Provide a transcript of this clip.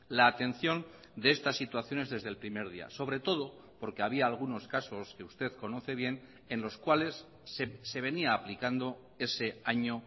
la atención de estas situaciones desde el primer día sobre todo porque había algunos casos que usted conoce bien en los cuales se venía aplicando ese año